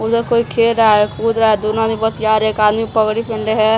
उधर कोई खेल रहा है कूद रहा है दूनो आदमी बतिया रे है और एक आदमी पगड़ी पेहेनले है।